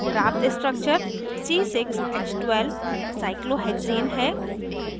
प्राप्त structure c6h12 cyclohexane cyclohexane है